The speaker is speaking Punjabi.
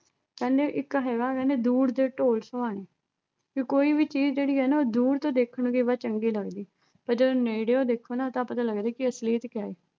ਕਹਿੰਦੇ ਇੱਕ ਹੈਗਾ ਕਹਿੰਦੇ ਦੂਰ ਦੇ ਢੋਲ ਸੁਹਾਣੇ ਕਿ ਕੋਈ ਵੀ ਚੀਜ਼ ਜਿਹੜੀ ਐ ਨਾ ਉਹ ਦੂਰ ਤੋਂ ਦੇਖਣ ਗਏ ਵਾ ਚੰਗੀ ਲੱਗਦੀ ਪਰ ਜਦੋਂ ਨੇੜਿਓ ਦੇਖੋ ਨਾ ਤਾਂ ਪਤਾ ਲੱਗਦੈ ਕਿ ਅਸਲੀਅਤ ਕਿਆ ਹੈ